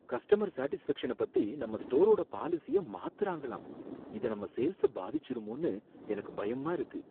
Customer சேடிஸ்ஃபேக்ஷன பத்தி நம்ம ஸ்டோரோட பாலிசிய மாத்தறாங்களாம், இது நம்ம சேல்ஸ பாதிச்சிருமோன்னு எனக்கு பயமா இருக்கு.